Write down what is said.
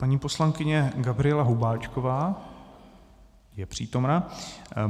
Paní poslankyně Gabriela Hubáčková je přítomna.